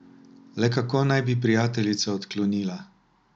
Le kako naj bi prijateljica odklonila?